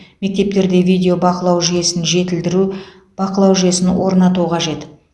мектептерде видео бақылау жүйесін жетілдіру бақылау жүйесін орнату қажет